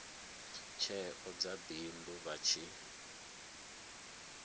tsheo dza bindu vha tshi